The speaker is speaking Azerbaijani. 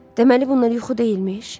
Deməli bunlar yuxu deyilmiş.